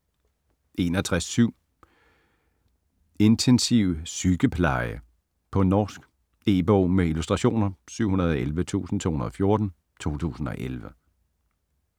61.7 Intensivsykepleie På norsk. E-bog med illustrationer 711214 2011.